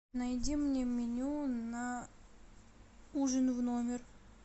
найди мне меню на ужин в номер